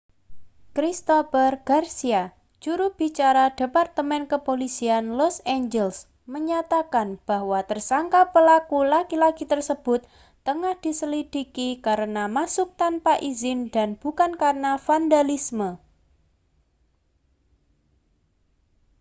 christopher garcia juru bicara departemen kepolisian los angeles menyatakan bahwa tersangka pelaku laki-laki tersebut tengah diselidiki karena masuk tanpa izin dan bukan karena vandalisme